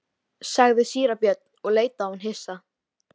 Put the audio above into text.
í tengslum við berghleifa úr súru bergi.